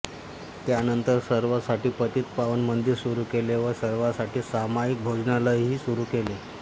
त्यांनंतर सर्वांसाठी पतित पावन मंदिर सुरू केले व सर्वांसाठी सामाईक भोजनालयही सुरू केले